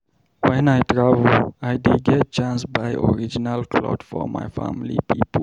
Wen I travel, I dey get chance buy original clot for my family pipo.